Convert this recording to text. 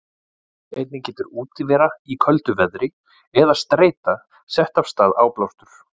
Einnig getur útivera í köldu veðri eða streita sett af stað áblástur.